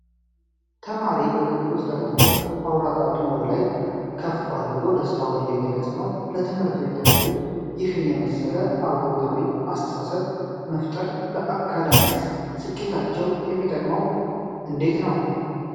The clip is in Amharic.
ተማሪ በክፍል ውስጥ ተቀምጦ አውራ ጣቱን ወደ ላይ ከፍ አድርጎ ደስታውን እየገለጸ ነው። ለትምህርት ቤት ተማሪዎች ይህን የመሰለ አዎንታዊ አስተሳሰብ መፍጠር ለአካዳሚክ ስኬታቸው የሚጠቅመው እንዴት ነው?